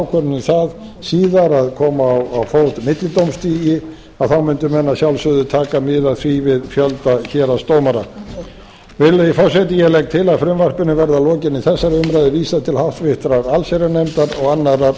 um það síðar að koma á fót millidómstigi að þá mundu menn að sjálfsögðu taka mið af því við fjölda héraðsdómara virðulegi forseti ég legg til að frumvarpinu verði að lokinni þessari umræðu vísað til háttvirtrar allsherjarnefndar og annarrar